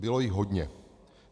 Bylo jich hodně.